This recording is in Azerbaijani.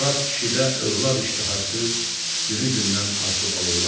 Murad kişidə övlad iştihası günü-gündən artıb alovlanırdı.